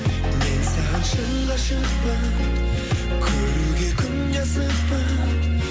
мен саған шын ғашықпын көруге күнде асықпын